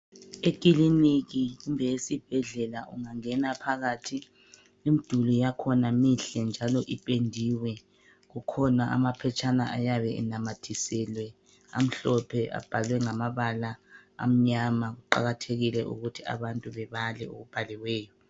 Ekiliniki kumbe esibhedlela ungangena phakathi imduli yakhona mihle njalo ipendiwe. Kukhona amaphetshana ayabe enamathiselwe amhlophe abhalwe ngamabala amnyama. Kuqakathekile ukuthi abantu bebale okubhaliweyo.